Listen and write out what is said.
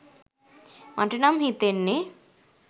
නම් මට හිතෙන්නෙ